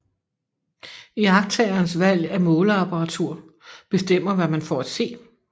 Iagttagerens valg af måleapparatur bestemmer hvad man får at se